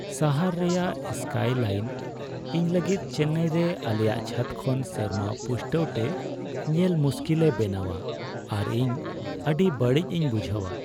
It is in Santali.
ᱥᱟᱦᱟᱨ ᱨᱮᱭᱟᱜ ᱥᱠᱟᱭᱼᱞᱟᱭᱤᱱ ᱤᱧ ᱞᱟᱹᱜᱤᱫ ᱪᱮᱱᱱᱟᱭ ᱨᱮ ᱟᱞᱮᱭᱟᱜ ᱪᱷᱟᱛ ᱠᱷᱚᱱ ᱥᱮᱨᱢᱟ ᱯᱩᱥᱴᱟᱹᱣ ᱛᱮ ᱧᱮᱞ ᱢᱩᱥᱠᱤᱞᱮ ᱵᱮᱱᱟᱣᱟ ᱟᱨ ᱤᱧ ᱟᱹᱰᱤ ᱵᱟᱹᱲᱤᱡ ᱤᱧ ᱵᱩᱡᱷᱟᱹᱣᱟ ᱾